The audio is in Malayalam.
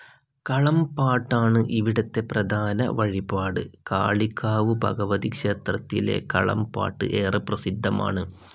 കളംപാട്ടാണ് ഇവിടത്തെ പ്രധാന വഴിപാട്. കാളികാവ് ഭഗവതി ക്ഷേത്രത്തിലെ കളംപാട്ട് ഏറെ പ്രസിദ്ധമാണ്.